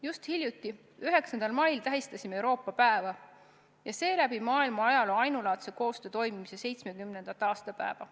Just hiljuti, 9. mail, tähistasime Euroopa päeva ja seeläbi maailma ajaloo ainulaadse koostöö toimimise 70. aastapäeva.